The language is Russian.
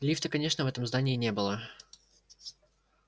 лифта конечно в этом здании не было